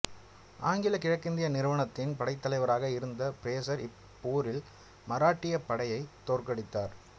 ஆங்கிலக் கிழக்கிந்திய நிறுவனத்தின் படைத்தலைவராக இருந்த பிரேசர் இப்போரில் மராட்டியப் படையைத் தோற்கடித்தார்